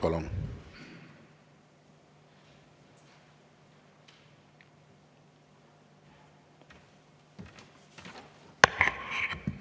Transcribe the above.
Palun!